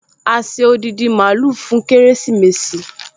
A ṣe odindi mààúlù fún kérésìmesì